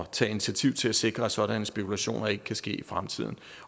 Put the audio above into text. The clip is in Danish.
tage initiativ til at sikre at sådanne spekulationer ikke kan ske i fremtiden